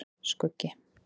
Skuggi